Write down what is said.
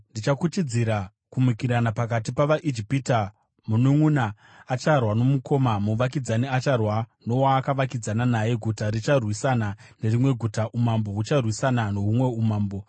“Ndichakuchidzira kumukirana pakati pavaIjipita, mununʼuna acharwa nomukoma, muvakidzani acharwa nowaakavakidzana naye, guta richarwisana nerimwe guta, umambo hucharwisana nohumwe umambo.